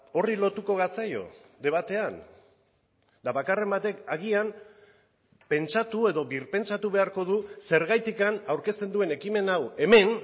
horri lotuko gatzaio debatean eta bakarren batek agian pentsatu edo birpentsatu beharko du zergatik aurkezten duen ekimen hau hemen